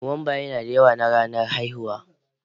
Nuwamba yana da yawa na ranar haihuwa.